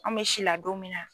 An bɛ sila don min na.